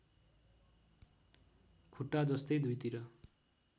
खुट्टा जस्तै दुईतिर